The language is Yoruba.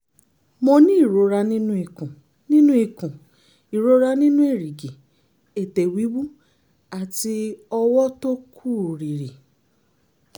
mo ní ìrora nínú ikùn nínú ikùn ìrora nínú èrìgì ètè wíwú àti ọwọ́ tó ń kú rìrì